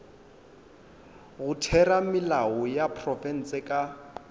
go theramelao ya profense ka